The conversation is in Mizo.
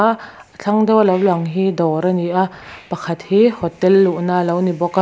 a thlang deuh a lo lang hi dawr a ni a pakhat hi hotel luhna alo ni bawk a--